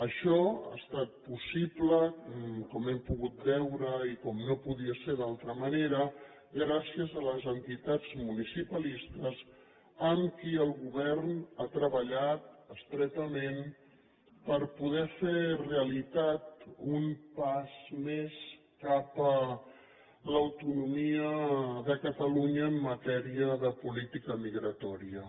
això ha estat possible com hem pogut veure i com no podia ser d’altra manera gràcies a les entitats municipalistes amb qui el govern ha treballat estretament per poder fer realitat un pas més cap a l’autonomia de catalunya en matèria de política migratòria